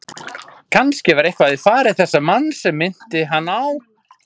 Kannske var eitthvað í fari þessa manns sem minnti hann á